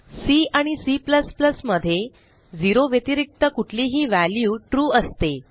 C आणि C मध्ये 0 व्यतिरिक्त कुठलीही व्हॅल्यू ट्रू असते